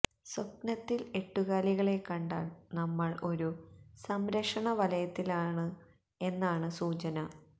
സ്വപ്നത്തിൽ എട്ടുകാലികളെ കണ്ടാൽ നമ്മൾ ഒരു സംരക്ഷണ വലയത്തിലാണ് എന്നാണ് സൂചന